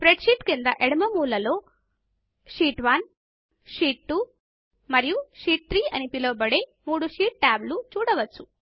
spread sheet క్రింద ఎడమ మూల లో షీట్1 షీట్ 2 మరియు షీట్ 3 అని పిలవబడే మూడు షీట్ టాబ్లను చూడవచ్చు